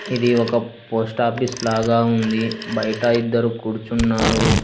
ఇది ఒక post office లాగా ఉంది బయట ఇద్దరు కూర్చున్నారు.